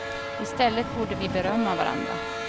I stället borde vi berömma varandra.